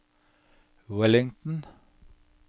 Wellington